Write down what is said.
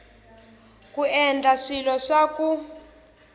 ku endla swilo swa ku